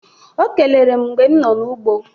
O kelere m mgbe no n'ụgbọ